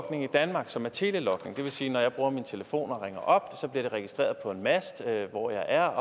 logning i danmark som er telelogning det vil sige at når jeg bruger min telefon og ringer op så bliver det registreret på en mast hvor jeg er